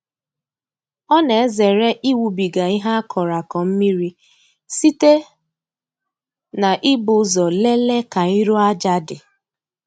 Ọ na-ezere ịwụbiga ihe a kọrọ akọ mmiri site n'ibu ụzọ lelee ka iru aja dị.